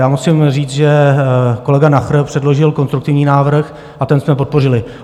Já musím říct, že kolega Nacher předložil konstruktivní návrh a ten jsme podpořili.